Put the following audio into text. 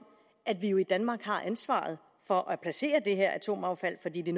at vi i danmark har ansvaret for at placere det her atomaffald fordi det